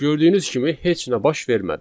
Gördüyünüz kimi heç nə baş vermədi.